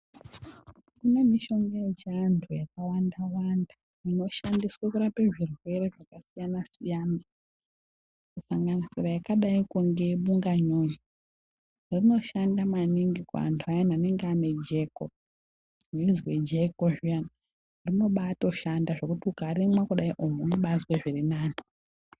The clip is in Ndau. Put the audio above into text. Kune mishonga yechiantu yakawanda inoshandiswe kurapa zvirwere zvakasiyana siyana kusanganisira rakadai nebunganyunyu rinoshanda maningi kuantu aya anenge aine jeko weizwe jeko zviyani robatoshanda zvekuti ukarimwa unobazwe zvirinani.